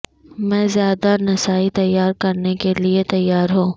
میں زیادہ نسائی تیار کرنے کے لئے تیار ہوں